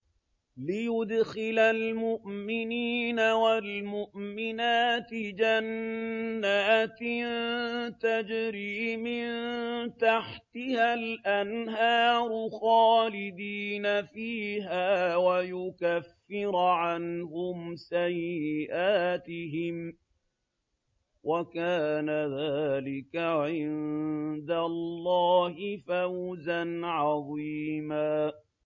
لِّيُدْخِلَ الْمُؤْمِنِينَ وَالْمُؤْمِنَاتِ جَنَّاتٍ تَجْرِي مِن تَحْتِهَا الْأَنْهَارُ خَالِدِينَ فِيهَا وَيُكَفِّرَ عَنْهُمْ سَيِّئَاتِهِمْ ۚ وَكَانَ ذَٰلِكَ عِندَ اللَّهِ فَوْزًا عَظِيمًا